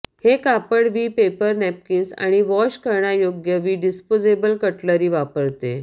हे कापड वि पेपर नॅपकिन्स आणि वॉश करण्यायोग्य वि डिस्पोजेबल कटलरी वापरते